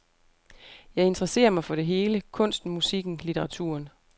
Jeg interesserer mig for det hele, kunsten, musikken, litteraturen.